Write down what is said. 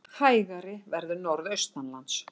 Hægari verður norðaustanlands